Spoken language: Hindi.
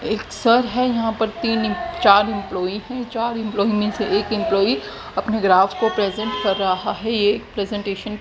एक सर है यहां पर तीन चार एम्पलाई हैं चार एम्पलाई में से एक एम्पलाई अपने ग्राफ को प्रेजेंट कर रहा है ये एक प्रेजेंटेशन --